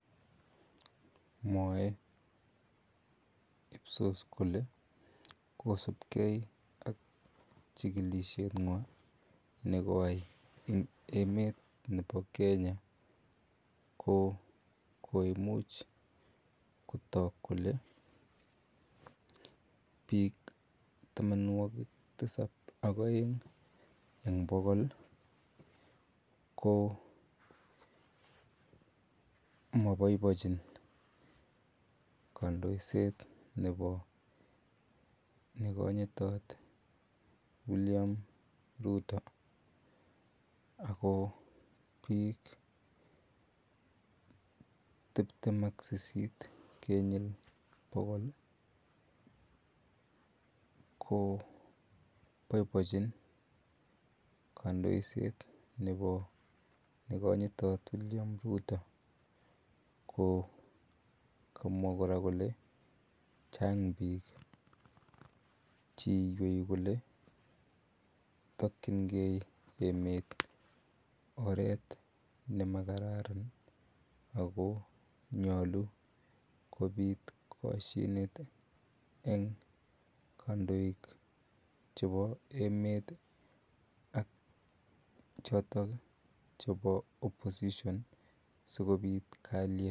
Mwoe IPSOS kolee kosipkei ak chikilishe nywan nebo emet nebo Kenya ko koimuch kotok kolee biik tamonwokik tisab ak oeng eng bokol ko moboiboechin kondoiset nebo nekonyitot William Rutto ak ko biik tibtem ak sisit eng bokol ko boiboinchin kandoiset nebo nekonyitot William Rutto ko kamwa kora kolee chang biik cheiwei kolee tokyinge emet oreet nemakararan ak ko nyolu kobiit koshinet eng kondoik chebo emet ak chotok chebo oposision sikobit kaliet.